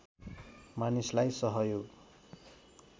मानिसलाई सहयोग